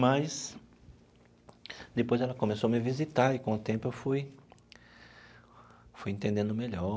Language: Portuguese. mas depois ela começou a me visitar e com o tempo eu fui fui entendendo melhor.